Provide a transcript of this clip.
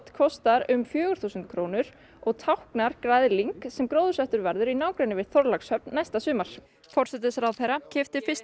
kostar um fjögur þúsund krónur og táknar græðling sem gróðursettur verður í nágrenni við Þorlákshöfn næsta sumar forsætisráðherra keypti fyrsta